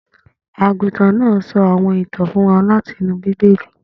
Aguntan naa sọ awọn itan fun wa lati inu Bibeli